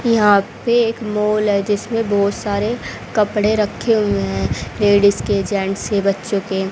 यहां पे एक मॉल है जिसमें बहोत सारे कपड़े रखे हुए हैं लेडिज के जेंट्स के बच्चों के।